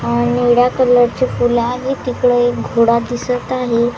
अह निळ्या कलर चे फुल आणि तिकड एक घोडा दिसत आहे.